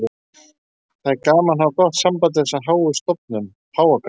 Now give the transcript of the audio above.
Það er gaman að hafa gott samband við þessa háu stofnun, Páfagarð.